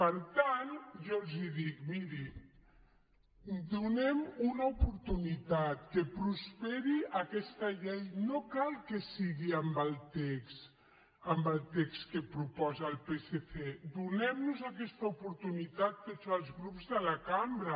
per tant jo els dic miri donem una oportunitat que prosperi aquesta llei no cal que sigui amb el text amb el text que proposa el psc donem nos aquesta oportunitat tots els grups de la cambra